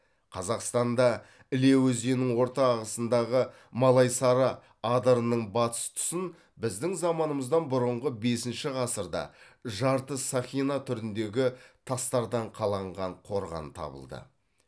қазақстанда іле өзенінің орта ағысындағы малайсары адырының батыс тұсын біздің заманымыздан бұрынғы бесінші ғасырда жарты сақина түріндегі тастардан қаланған қорған табылды